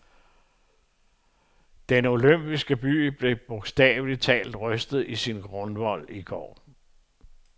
Den olympiske by blev bogstaveligt talt rystet i sin grundvold i går.